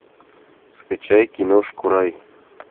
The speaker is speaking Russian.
скачай киношку рай